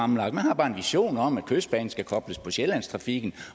man har bare en vision om at kystbanen skal kobles på sjællandstrafikken